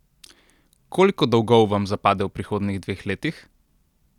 Koliko dolgov vam zapade v prihodnjih dveh letih?